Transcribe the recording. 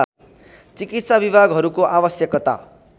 चिकित्सा विभागहरूको आवश्यकता